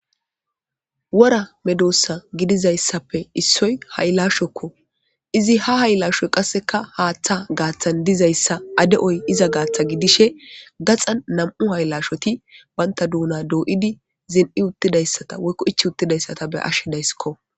wora medossa gidizayssappe issoy hayilashokko izi ha haylaashoy qasseka haaththa gaaththan dizayssa ade'oy iza gaatha gidishe gaxan nam'u hayilasjshoti bayinta duuna doyid zin'i uttidayssata woykko ichi uttidayssata be'ashshe dayissikko